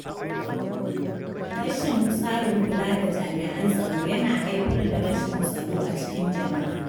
Rashin tsarin kula da jami’an tsaro yana haifar da rashin tsaro a cikin jama’a.